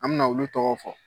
An bɛna olu tɔgɔ fɔ